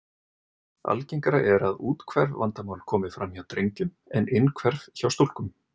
Algengara er að úthverf vandamál komi fram hjá drengjum en innhverf hjá stúlkum.